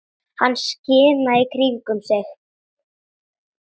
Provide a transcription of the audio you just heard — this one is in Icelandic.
Hann skimaði í kringum sig.